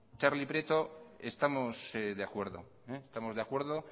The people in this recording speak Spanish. txarli prieto estamos de acuerdo estamos de acuerdo